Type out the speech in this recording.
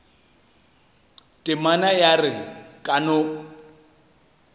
temana ya re ka no